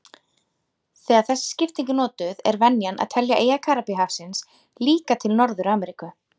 Þegar þessi skipting er notuð er venjan að telja eyjar Karíbahafsins líka til Norður-Ameríku.